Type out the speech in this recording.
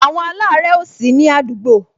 Àwọn alare ó sini àdúgbò